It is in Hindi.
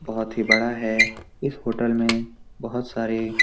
बहुत ही बड़ा है इस होटल में बहोत सारी --